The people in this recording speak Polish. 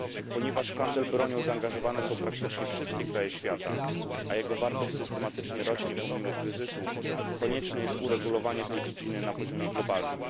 Ponieważ w handel bronią zaangażowane są praktycznie wszystkie kraje świata, a jego wartość systematycznie rośnie, pomimo kryzysu, konieczne jest uregulowanie tej dziedziny na poziomie globalnym.